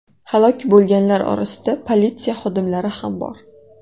Halok bo‘lganlar orasida politsiya xodimlari ham bor.